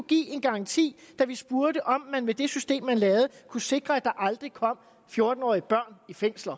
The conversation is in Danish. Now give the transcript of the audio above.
give en garanti da vi spurgte om man med det system man lavede kunne sikre at der aldrig kom fjorten årige børn i fængsel